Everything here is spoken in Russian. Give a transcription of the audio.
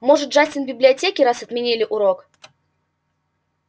может джастин в библиотеке раз отменили урок